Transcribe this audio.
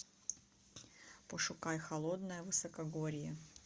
пошукай холодное высокогорье